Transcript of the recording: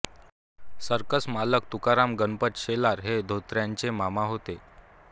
circus मालक तुकाराम गणपत शेलार हे धोत्र्यांचे मामा होते